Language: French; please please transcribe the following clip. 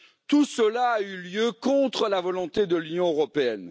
Tout cela a eu lieu contre la volonté de l'Union européenne.